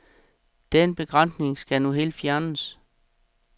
Den begrænsning skal nu helt fjernes.